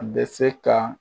A bɛ se ka